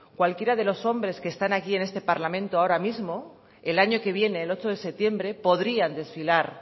cualquiera de los hombres que están aquí en este parlamento ahora mismo el año que viene el ocho de septiembre podrían desfilar